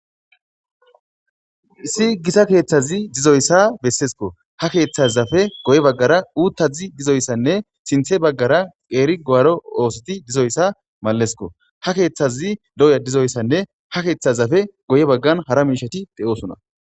Issi gita keethazi dizoyssa besseeskko.hakeethazappe guye baggara uuthazi dizoyssanne sinthe baggara qeeri guwaaro oosoti dizayssi maleesko. hakeethazi doya dizoyssinne hakeethazappe guye baggan hara miisheti de7oosona.